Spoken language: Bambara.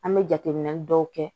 An bɛ jateminɛ dɔw kɛ